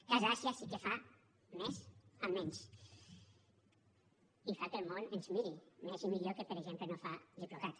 casa àsia sí que fa més amb menys i fa que el món ens miri més i millor del que per exemple fa diplocat